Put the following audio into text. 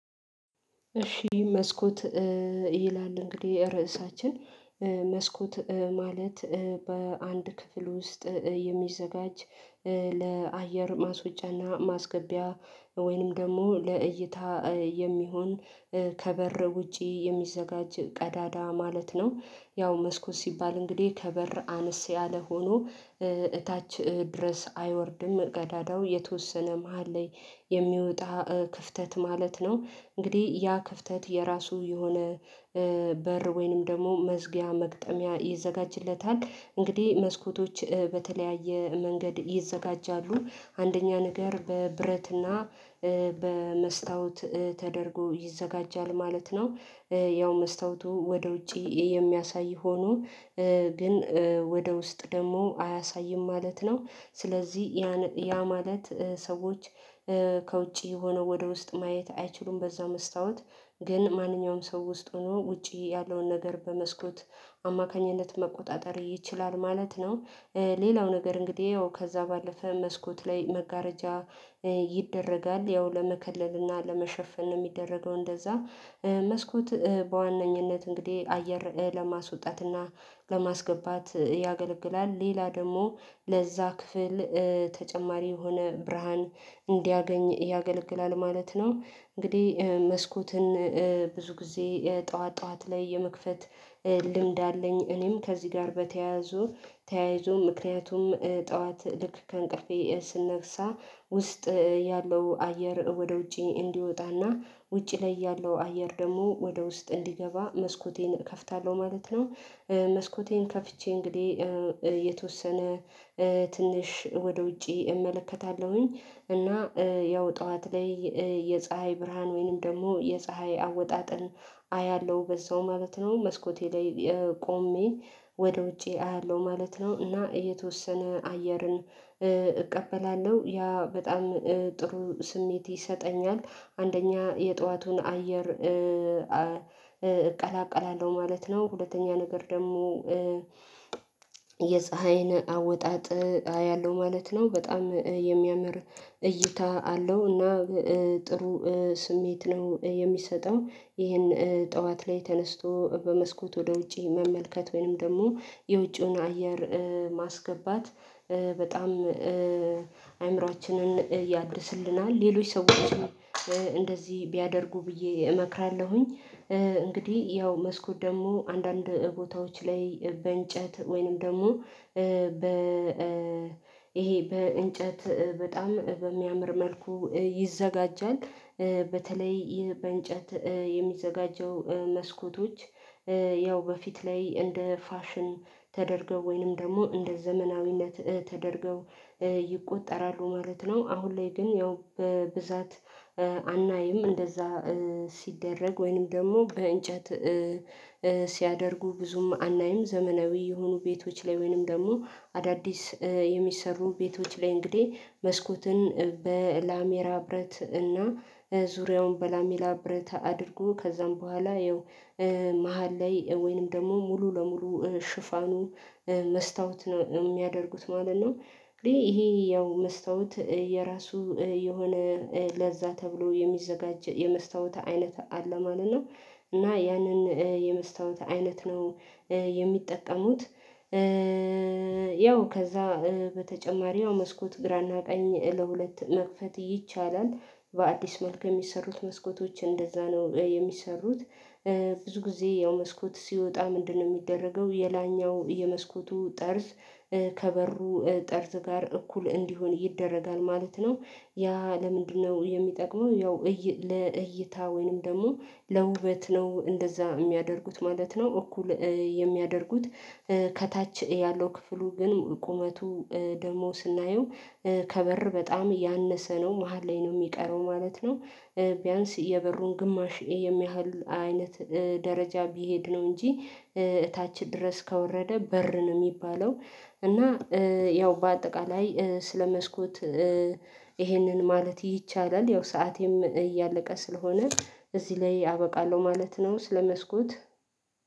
እሺ መስኮት ይላል እንግዲህ ርዕሳችን መስኮት ማለት በአንድ ክፍል ውስጥ የሚዘጋጅ ለአየር ማስወጫና ማስገቢያ ወይንም ደግሞ ለእይታ የሚሆን ከበር ውጪ የሚዘጋጅ ቀዳዳ ማለት ነው። ያው መስኮት ሲባል እንግዲህ ከበር አነስ ያለ ሆኖ እታች ድረስ አይወርድም ገዳዳው የተወሰነ መሃል ላይ የሚወጣ ክፍተት ማለት ነው። እንግዲህ ያ ክፍተት የራሱ የሆነ በር ወይንም ደግሞ መዝጊያ መግጠሚያ ይዘጋጅለታል። እንግዲህ መስኮቶች በተለያየ መንገድ ይዘጋጃሉ። አንደኛ ነገር በብረትና በመስታወት ተደርጎ ይዘጋጃል ማለት ነው። ያው መስታወቱ ወደ ውጪ የሚያሳይ ሆኖ ግን ወደ ውስጥ ደግሞ አያሳይም ማለት ነው። ስለዚህ ያ ማለት ሰዎች ከውጪ የሆነ ወደ ውስጥ ማየት አይችሉም በዛው መስታወት ግን ማንኛውም ሰው ውስጥ ሆኖ ውጪ ያለውን ነገር በመስኮት አማካኝነት መቆጣጠር ይችላል ማለት ነው። ሌላው ነገር እንግዲህ ያው ከዛ ባለፈ መስኮት ላይ መጋረጃ ይደረጋል ያው ለመከለል እና ለመሸፈን ነው የሚደረገው እንደዛ መስኮት በዋነኝነት እንግዲህ አየር ለማስወጣትና ለማስገባት ያገለግላል። ሌላ ደግሞ ለዛ ክፍል ተጨማሪ የሆነ ብርሃን እንዲያገኝ ያገለግላል ማለት ነው። እንግዲህ መስኮትን ብዙ ጊዜ ጠዋት ጠዋት ላይ የመክፈት ልምድ አለኝ። እኔም ከዚህ ጋር በተያያዙ ተያይዞ ምክንያቱም ጠዋት ልክ ከእንቅልፌ ስነግሳ ውስጥ ያለው አየር ወደ ውጪ እንዲወጣና ውጪ ላይ ያለው አየር ደግሞ ወደ ውስጥ እንዲገባ መስኮቴን እከፍታለሁ ማለት ነው። መስኮቴን ከፍቼ እንግዲህ የተወሰነ ትንሽ ወደ ውጪ እመለከታለሁኝ። እና ያው ጠዋት ላይ የፀሀይ ብርሃን ወይንም ደግሞ የፀሀይ አወጣጥል አያለሁ በዛው ማለት ነው። መስኮቴ ላይ ቆሜ ወደ ውጪ አያለሁ ማለት ነው። እና የተወሰነ አየርን እቀበላለሁ ያ በጣም ጥሩ ስሜት ይሰጠኛል። አንደኛ የጠዋቱን አየር እቀላቀላለሁ ማለት ነው። ሁለተኛ ነገር ደግሞ የፀሀይን አወጣጥ አያለሁ ማለት ነው። በጣም የሚያምር እይታ አለው እና ጥሩ ስሜት ነው የሚሰጠው ይሄን ጠዋት ላይ ተነስቶ በመስኮት ወደ ውጪ መመልከት ወይንም ደግሞ የውጪውን አየር ማስገባት በጣም አእምሮአችንን ያድስልናል። ሌሎች ሰዎችን እንደዚህ ቢያደርጉ ብዬ እመክራለሁኝ። እንግዲህ ያው መስኮት ደግሞ አንዳንድ ቦታዎች ላይ በእንጨት ወይንም ደግሞ በ ይሄ በእንጨት በጣም በሚያምር መልኩ ይዘጋጃል በተለይ በእንጨት የሚዘጋጀው መስኮቶች ያው በፊት ላይ እንደ ፋሽን ተደርገው ወይንም ደግሞ እንደ ዘመናዊነት ተደርገው ይቆጠራሉ ማለት ነው። አሁን ላይ ግን ያው በብዛት አናይም እንደዛ ሲደረግ ወይንም ደግሞ በእንጨት ሲያደርጉ ብዙም አናይም ዘመናዊ የሆኑ ቤቶች ላይ ወይንም ደግሞ አዳዲስ የሚሰሩን ቤቶች ላይ እንግዲህ መስኮትን በላሜራ ብረት እና ዙሪያውን በላሜራ ብረት አድርጎ ከዛም በኋላ ይኸው መሃል ላይ ወይንም ደግሞ ሙሉ ለሙሉ ሽፋኑ መስታወት ነው የሚያደርጉት ማለት ነው እንግዲህ ይሄ ያው መስታወት የራሱ የሆነ ለዛ ተብሎ የሚዘጋጀው የመስታወት አይነት አለ ማለት ነው እና ያንን የመስታወት አይነት ነው የሚጠጠሙት ያው ከዛ በተጨማሪው መስኮት ግራና ቀኝ ለሁለት መክፈት ይቻላል። በአዲስ መልክ የሚሰሩት መስኮቶች እንደዛ ነው የሚሰሩት ብዙ ጊዜ ያው መስኮት ሲወጣ ምንድነው የሚደረገው የላኛው የመስኮቱ ጠርዝ ከበሩ ጠርዝ ጋር እኩል እንዲሆን ይደረጋል ማለት ነው። ያ ለምንድነው የሚጠቅመው ያው ለእይታ ወይንም ደግሞ ለውበት ነው እንደዛ የሚያደርጉት ማለት ነው እኩል የሚያደርጉት ከታች ያለው ክፍሉ ግን ቁመቱ ደግሞ ስናየው ከበር በጣም እያነሰ ነው መሃል ላይ ነው የሚቀረው ማለት ነው። ቢያንስ የበሩን ግማሽ የሚያህል አይነት ደረጃ ቢሄድ ነው እንጂ እታች ድረስ ከወረደ በር ነው የሚባለው እና ያው በአጠቃላይ ስለ መስኮት ይሄንን ማለት ይቻላል ያው ሰዓት እያለቀ ስለሆነ እዚህ ላይ አበቃለሁ ማለት ነው። ስለ መስኮት